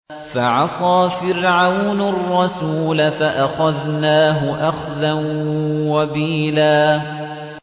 فَعَصَىٰ فِرْعَوْنُ الرَّسُولَ فَأَخَذْنَاهُ أَخْذًا وَبِيلًا